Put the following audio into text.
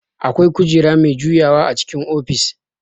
Akwai kujera mai juyawa a cikin ofis